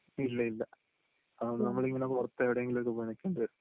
ഇല്ലില്ല, അതുകൊണ്ടാണ് നമ്മളിങ്ങനെ പുറത്ത് എവിടേങ്കിലും പോയി നിൽക്കേണ്ടി വരുന്നത്...